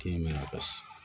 Tiɲɛ mɛn a ka